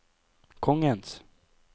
kongens